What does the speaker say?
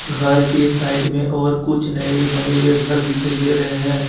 घर के साइड में और कुछ नए बने हुए घर दिखाई दे रहे हैं।